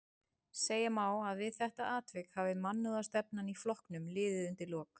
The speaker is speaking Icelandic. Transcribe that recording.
Segja má að við þetta atvik hafi mannúðarstefnan í flokknum liðið undir lok.